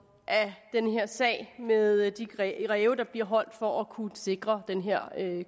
af den her sag med de ræve ræve der bliver holdt for at kunne sikre den her